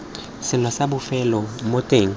selo sa bofelo mo teng